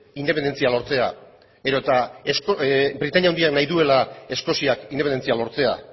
independentzia lortzea edota britainia handiak nahi duela eskozia independentzia lortzea